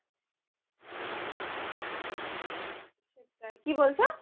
সেটাই কি বলছো ?